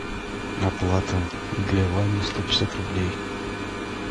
оплата для вани сто пятьдесят рублей